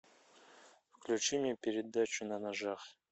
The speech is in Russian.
включи мне передачу на ножах